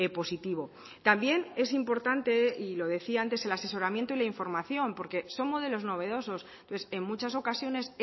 positivo también es importante y lo decía antes el asesoramiento y la información porque son modelos novedosos entonces en muchas ocasiones